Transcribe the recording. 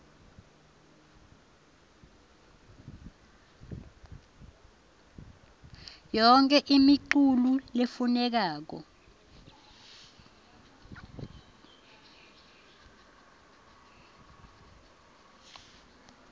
yonkhe imiculu lefunekako